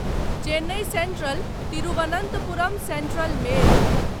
Chennai central Thiruvananthapuram central mail